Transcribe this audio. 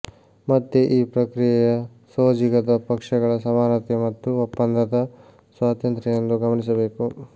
ಮತ್ತೆ ಈ ಪ್ರಕ್ರಿಯೆಯ ಸೋಜಿಗದ ಪಕ್ಷಗಳ ಸಮಾನತೆ ಮತ್ತು ಒಪ್ಪಂದದ ಸ್ವಾತಂತ್ರ್ಯ ಎಂದು ಗಮನಿಸಬೇಕು